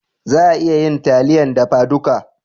Za a iya yin taliyan dafa duka